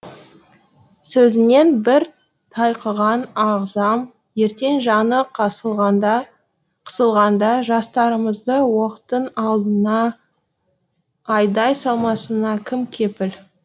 сөзінен бір тайқыған ағзам ертең жаны қысылғанда жастарымызды оқтың алдына айдап салмасына кім кепіл